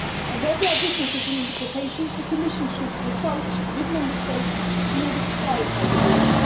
Where there are differences in interpretation, the Commission should consult with Member States in order to clarify the rules.